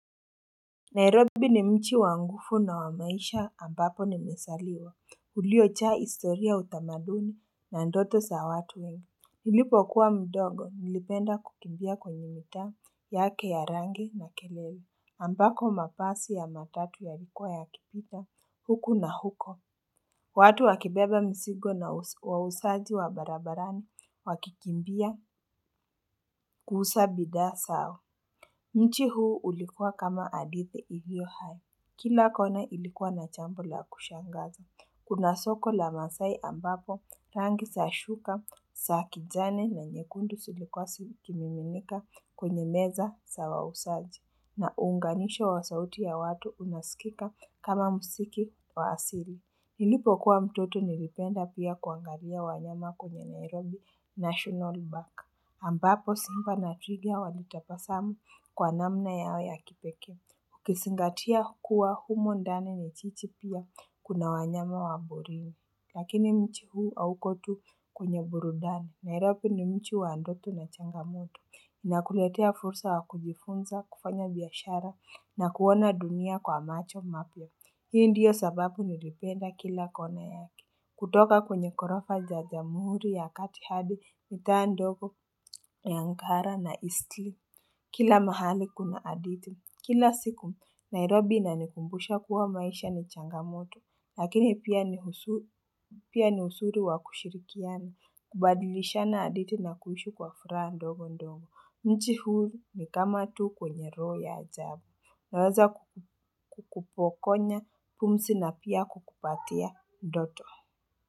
Nairobi ni mchi wa ngufu na wa maisha ambapo nimesaliwa uliochaa istoria, utamaduni na ndoto sa watu wengi Nilipo kuwa mdogo nilipenda kukimbia kwenye mitaa yake ya rangi na kelele ambako mapasi ya matatu yalikua yakipita huku na huko watu wakibeba misigo na wausaji wa barabarani wakikimbia kuhusa bidhaa sao Mchi huu ulikua kama hadithi iliyo hai Kila kona ilikuwa na chambo la kushangaza. Kuna soko la Masai ambapo rangi sa shuka sa kijani na nyekundu silikuwa sikiminimika kwenye meza sa wausaji. Na unganisho wa sauti ya watu unaskika kama musiki wa asiri. Nilipo kuwa mtoto nilipenda pia kuangaria wanyama kwenye Nairobi National Bank. Ambapo simba na twiga walitapasamu kwa namna yao ya kipekee. Ukisingatia kuwa humo ndani ni chichi pia kuna wanyama wa borini. Lakini mchi huu auko tu kwenye burudani Nairobi ni mchi wa ndoto na changamoto. Inakuletea fursa wa kujifunza, kufanya biashara na kuona dunia kwa macho mapya. Hii ndiyo sababu nilipenda kila kona yake. Kutoka kwenye korofa za jamuhuri ya kati hadi mitaa ndogo ya Ngara na Eastleigh. Kila mahali kuna adithi Kila siku, Nairobi inanikumbusha kuwa maisha ni changamoto. Lakini pia ni usuri wa kushirikiana. Kubadilishana adithi na kuishi kwa furaha ndogo ndongo. Mchi huu ni kama tu kwenye roho ya ajabu. Naweza kukupo konya pumsi na pia kukupatia ndoto.